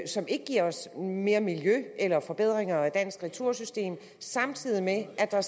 som ikke giver os mere miljø eller forbedringer af det danske retursystem samtidig med at der